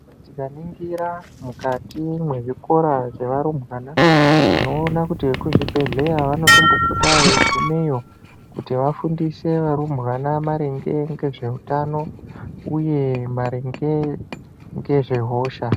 Tikaningira mukati mezvikora zvevarumbwana, tinowona kuti kuzvibhedhlera vanotombopota veyi gumeyo kuti vafundise varumbwana maringe ngezvehutano uye maringe ngezvehosha.